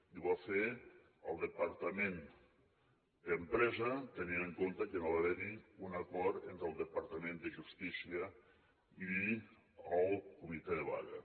i ho va fer el departament d’empresa tenint en compte que no va haver hi un acord entre el departament de justícia i el comitè de vaga